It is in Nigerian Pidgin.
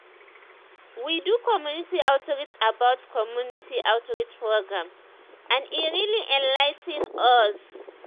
we do community outreach about community outreach programs and e really enligh ten us.